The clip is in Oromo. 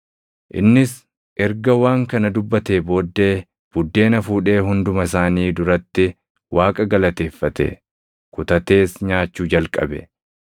Innis erga waan kana dubbatee booddee buddeena fuudhee hunduma isaanii duratti Waaqa galateeffate; kutatees nyaachuu jalqabe.